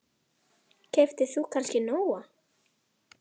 Eva: Keyptir þú kannski Nóa?